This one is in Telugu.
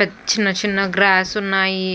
పెద్ చిన్న చిన్న గ్రాస్ ఉన్నాయి.